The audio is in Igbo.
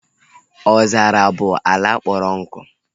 Ọzara bụ ala kpọrọ nkụ